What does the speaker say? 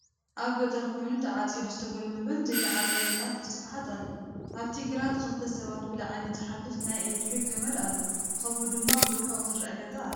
አብ ገጠር ኮይኑ ተዓፂዱ ዝተጎልበበን ዘይተዓፀደን ጣፍ ብስፍሓት አሎ፡፡ አብቲ ግራት ክልተ ሰባት ብላዕሊ ዝሓልፍ ናይ ኤለክትሪክ ገመድ አሎ ከምኡ ድማ ብርሑቅ ዝረአ ገዛ አሎ፡፡